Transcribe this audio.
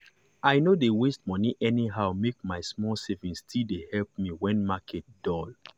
i no dey waste money anyhow make my small savings still dey help me when market dull.